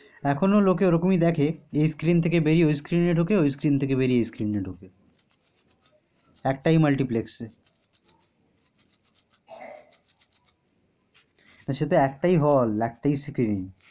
এখনো লোকে ওরকমই দেখে এ screen থেকে বেরিয়ে ওই screen এ ঢুকে ওই screen থেকে বেরিয়ে এ screen ঢুকে। একটায় multiplex এ। সেটায় একটায় hall একটায় screen